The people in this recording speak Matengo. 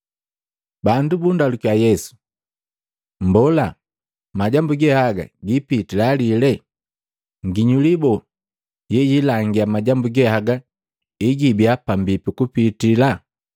Bandu bundalukya Yesu, “Mmbola, majambu ge haga gipitila lile? Nginyuli boo yeyiilangia majambu ge haga egibia pambipi kupiti?”